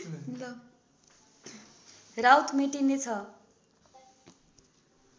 Raut मेटिनेछ